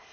Aber